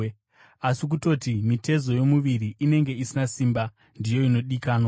Asi kutoti mitezo yomuviri inenge isina simba, ndiyo inodikanwa,